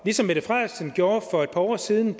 ligesom mette frederiksen gjorde for et par år siden